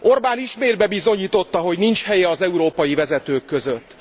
Orbán ismét bebizonyította, hogy nincs helye az európai vezetők között.